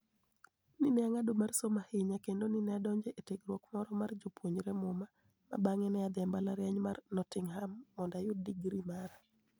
ni e anig'ado mar somo ahiniya kenido ni e adonijo etiegruok moro mar joma puonijore Muma, ma banig'e ni e adhi e mbalarianiy mar nottinigham monido ayud digri mara.